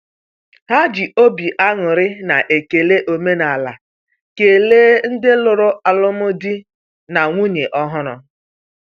Ha ji obi aṅụrị na ekele omenaala kelee ndị lụrụ alụmdi na nwunye ọhụrụ.